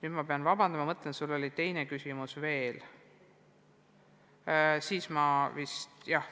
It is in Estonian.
Urmas Espenberg, palun!